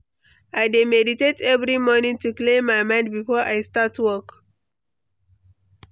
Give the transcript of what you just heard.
I dey meditate every morning to clear my mind before I start work.